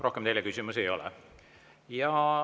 Rohkem teile küsimusi ei ole.